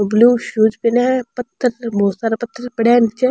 Blue shoes पहना है पत्थर पे बहोत सारा पत्थर पड़या है नीचे।